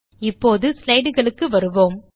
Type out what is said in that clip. இப்போது slideகளுக்கு வருவோம்